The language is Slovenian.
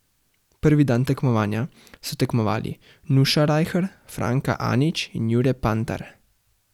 Prvi dan tekmovanja so tekmovali Nuša Rajher, Franka Anić in Jure Pantar.